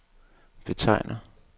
betegner